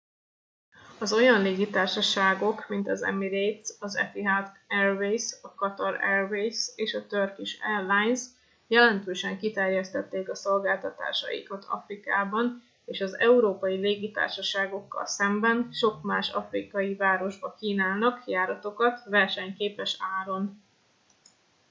az olyan légitársaságok mint az emirates az etihad airways a qatar airways és a turkish airlines jelentősen kiterjesztették a szolgáltatásaikat afrikában és az európai légitársaságokkal szemben sok más afrikai városba kínálnak járatokat versenyképes áron